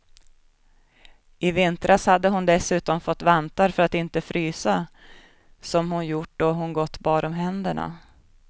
I vintras hade hon dessutom fått vantar för att inte frysa som hon gjort då hon gått bar om händerna.